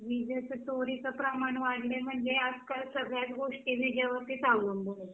विजेचा चोरीचा प्रमाण वाढलाय म्हणजे आज काल सगळ्याच गोष्टी विजेवर्तीच अवलंबून आहेत